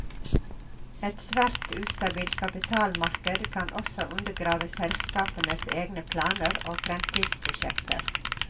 Et svært ustabilt kapitalmarked kan også undergrave selskapenes egne planer og fremtidsprosjekter.